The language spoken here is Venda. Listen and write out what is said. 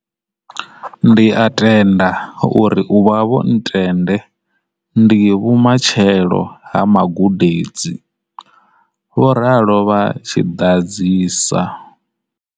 Ndi a tenda uri u vha vho ntende ndi vhumatshelo ha magude dzi, vho ralo vha tshi ḓadzisa.